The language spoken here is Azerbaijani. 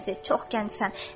Hələ tezdir, çox gəncsən.